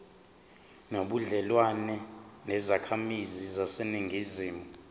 nobudlelwane nezakhamizi zaseningizimu